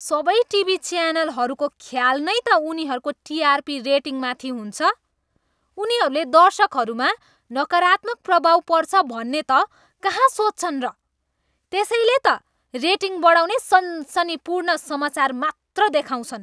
सबै टिभी च्यानलहरूको ख्याल नै त उनीहरूको टिआरपी रेटिङमाथि हुन्छ। उनीहरूले दर्शकहरूमा नकारात्मक प्रभाव पर्छ भन्ने त कहाँ सोच्छन् र? त्यसैले त रेटिङ बढाउने सनसनीपूर्ण समाचार मात्र देखाउँछन्।